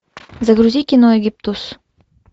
загрузи кино египтус